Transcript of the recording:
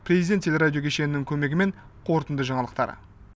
президент теле радио кешенінің көмегімен қорытынды жаңалықтар